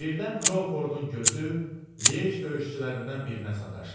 Birdən Kroufordun gözü Lyej döyüşçülərindən birinə sataşdı.